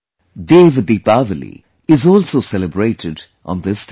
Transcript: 'DevDeepawali' is also celebrated on this day